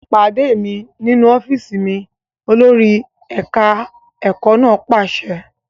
Pàdé mi nínú ọ́fíìsì mi! Olórí ẹ̀ka ẹ̀kọ́ náà pàṣẹ.